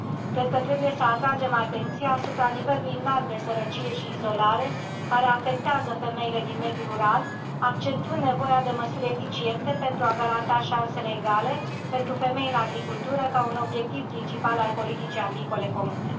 Cred că trebuie să atragem atenția asupra nivelului înalt de sărăcie și izolare care afectează femeile din mediul rural, accentuând nevoia de măsuri eficiente pentru a garanta șanse egale pentru femei în agricultură, ca un obiectiv principal al politicii agricole comune.